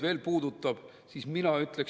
Palun, kolm minutit lisaaega!